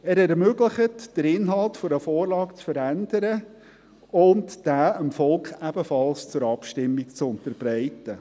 Er ermöglicht, den Inhalt einer Vorlage zu verändern und diesen dem Volk ebenfalls zur Abstimmung zu unterbreiten.